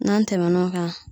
N'an tɛmɛn'o kan